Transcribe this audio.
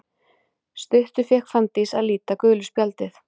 Stuttu fékk Fanndís að líta gula spjaldið.